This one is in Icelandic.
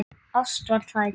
Ást var það ekki.